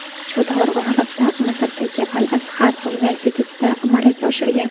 Shu davr oralig‘ida Misrdagi Al-Azhar universitetida malaka oshirgan.